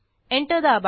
enter दाबा